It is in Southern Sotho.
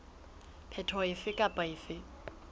phetoho efe kapa efe e